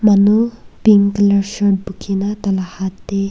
manu pink colour shirt pukina taila haat teh.